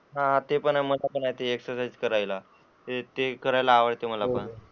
हा ते पण आहे, हा ते एक्सरसाइज करतात. करायला आवडते मला पण.